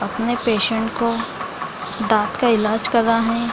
अपने पेशेंट को दांत का इलाज कर रहा है।